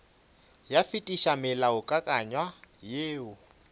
ka fetiša molaokakanywa woo o